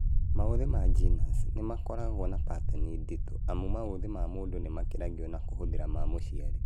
Maũthĩ ma GNAS nĩmakoragwo na patani nditũ amu maũthĩ ma mũndũ nĩmakiragio na kũhũthĩra ma mũciari